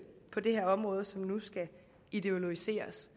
på det her område som nu skal ideologiseres